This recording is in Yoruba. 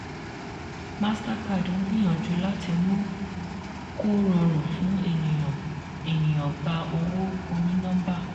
mastercard ń gbìyànjú láti mú kó rọrùn fún ènìyàn ènìyàn gba owó oní nọ́mbà.